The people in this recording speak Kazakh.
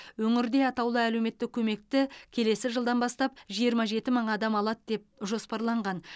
өңірде атаулы әлеуметтік көмекті келесі жылдан бастап жиырма жеті мың адам алады деп жоспарланған